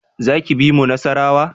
Za ki bi mu Nasarawa?